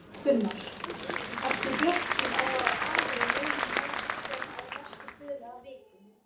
Gunnar: Ertu bjartsýnn á að aðilar muni ná saman á næstu dögum eða vikum?